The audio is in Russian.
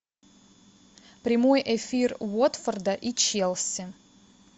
прямой эфир уотфорда и челси